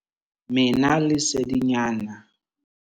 Mena lesedinyana.